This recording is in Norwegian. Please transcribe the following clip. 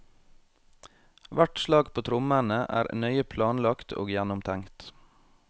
Hvert slag på trommene er nøye planlagt og gjennomtenkt.